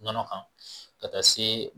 Nɔnɔ kan ka taa se